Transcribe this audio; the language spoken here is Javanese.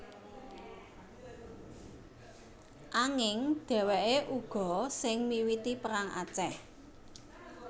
Anging dhèwèké uga sing miwiti Perang Aceh